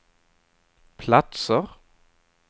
platser